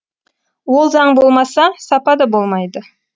ол заң болмаса сапа да болмайды